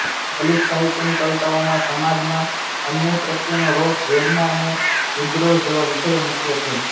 દલિત સાહિત્યની કવિતાઓમાં સમાજમાં અન્યાય પ્રત્યેનો રોષ વેદના અને વિદ્રોહ જેવા વિષયો મુખ્ય છે